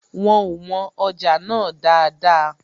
Wọn ò wọn ọjà náà dáadáa